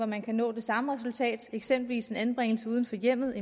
man kan nå det samme resultat eksempelvis en anbringelse uden for hjemmet